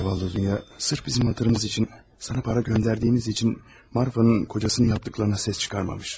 Zavallı Dunya sırf bizim xətrimiz üçün, sənə para göndərdiyimiz üçün Marfa'nın kocasının etdiklərinə səs çıxarmamış.